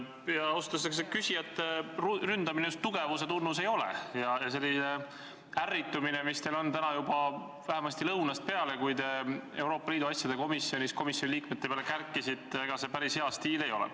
Ausalt öeldes, ega see küsijate ründamine just tugevuse tunnus ei ole ja selline ärritumine, mis on ilmne täna juba vähemasti lõunast peale, kui te Euroopa Liidu asjade komisjonis komisjoni liikmete peale kärkisite, päris hea stiil ei ole.